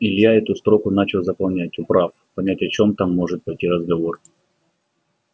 илья эту строку начал заполнять управ понять о чём там может пойти разговор